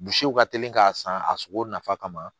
ka teli k'a san a sogo nafa kama